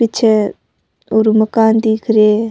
पीछे ओरु मकान दिख रहे है।